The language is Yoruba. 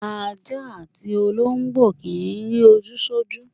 Aja atí ologbo ki ń ri oju sọju.